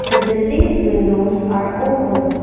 the buildings windows are opened.